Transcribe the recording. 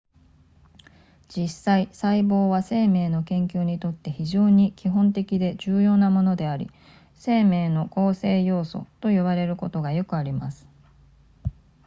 実際細胞は生命の研究にとって非常に基本的で重要なものであり生命の構成要素と呼ばれることがよくあります